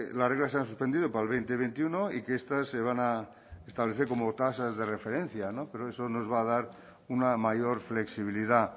las reglas se han suspendido para el veinte veintiuno y que estas se van a establecer como tasas de referencia no pero es nos va a dar una mayor flexibilidad